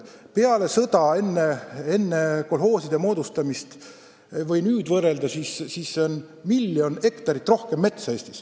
Kui võrrelda ajaga peale sõda ja enne kolhooside moodustamist, siis Eestis on metsa miljon hektarit rohkem.